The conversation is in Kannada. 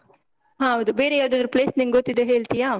ಹೌದು. ಬೇರೆ ಯಾವದಾದ್ರು place ನಿಂಗೆ ಗೊತ್ತಿದ್ರೆ ಹೇಳ್ತಿಯಾ?